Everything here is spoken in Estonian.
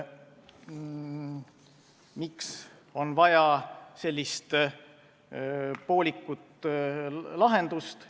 Miks on vaja sellist poolikut lahendust?